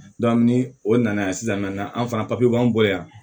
ni o nana yan sisan an fana b'an bolo yan